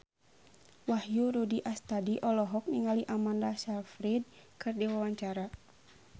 Wahyu Rudi Astadi olohok ningali Amanda Sayfried keur diwawancara